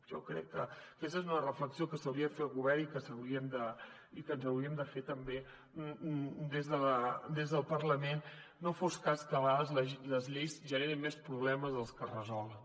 jo crec que aquesta és una reflexió que s’hauria de fer el govern i que ens hauríem de fer també des del parlament no fos cas que a vegades les lleis generin més problemes dels que resolen